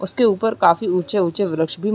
उसके ऊपर काफी ऊँचे-ऊँचे व्रक्ष भी --